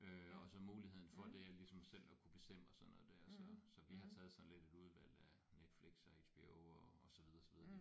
Øh og så muligheden for det her ligesom selv at kunne bestemme og sådan noget der så så vi har taget sådan lidt et udvalg af Netflix og HBO og og så videre og så videre